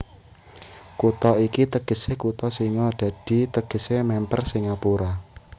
Kutha iki tegesé kutha singa dadi tegesé mèmper Singapura